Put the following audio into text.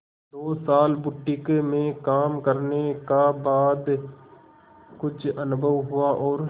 दो साल बुटीक में काम करने का बाद कुछ अनुभव हुआ और